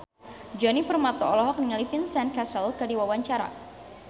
Djoni Permato olohok ningali Vincent Cassel keur diwawancara